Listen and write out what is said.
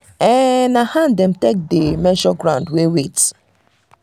um na hand um him take dey measure ground wey wet.